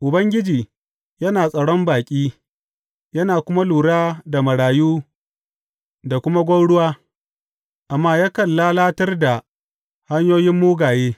Ubangiji yana tsaron baƙi yana kuma lura da marayu da kuma gwauruwa, amma yakan lalatar da hanyoyin mugaye.